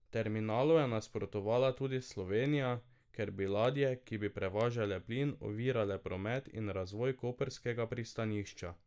Terminalu je nasprotovala tudi Slovenija, ker bi ladje, ki bi prevažale plin, ovirale promet in razvoj koprskega pristanišča.